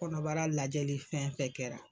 Kɔnɔbara lajɛli fɛn fɛn kɛra